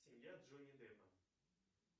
семья джонни деппа